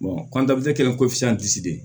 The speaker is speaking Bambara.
kɔntanti kelen ko fisa de